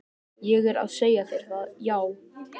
Ég er að segja þér það, já.